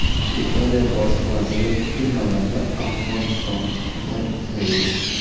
Italiya bosh vaziri kutilmaganda Afg‘onistonga keldi.